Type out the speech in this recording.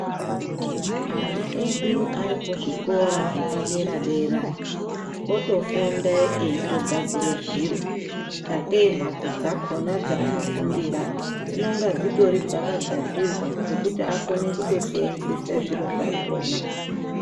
Ana edu arikuzvikora zvepadera dera, otofunda eyitogadzire zviro zvake, mhatso dzakhona dzanofundira dzanonga dzitori dzakagadzirwa zvekuti akone kutosenzisa zviro zvakhona.